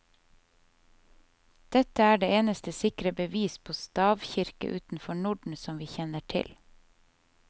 Dette er det eneste sikre bevis på stavkirker utenfor norden som vi kjenner til.